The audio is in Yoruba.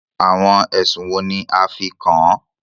Àwọn ẹ̀sùn wo ní a fí kàn án?